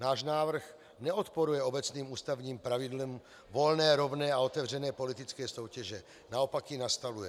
Náš návrh neodporuje obecným ústavním pravidlům volné, rovné a otevřené politické soutěže, naopak ji nastavuje.